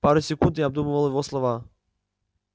пару секунд я обдумывал его слова